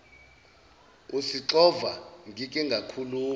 usixova ngike ngakhuluma